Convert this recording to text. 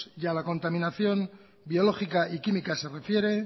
y a la contaminación biológica y química se refiere